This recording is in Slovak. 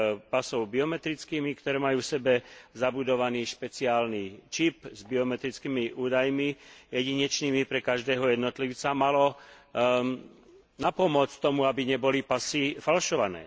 pasov biometrickými, ktoré majú v sebe zabudovaný špeciálny čip s biometrickými údajmi jedinečnými pre každého jednotlivca, malo napomôcť tomu, aby neboli pasy falšované.